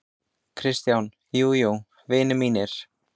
KRISTJÁN: Jú, jú, vinir mínir!